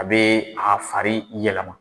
A bɛ a fari yɛlɛma.